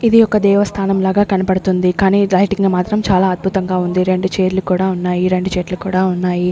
ఇది ఒక దేవస్థానం లాగా కనపడుతుంది కానీ లైటింగ్ లో మాత్రం చాలా అద్భుతంగా ఉంది రెండు చేర్లు కూడా ఉన్నాయి రెండు చెట్లు కూడా ఉన్నాయి.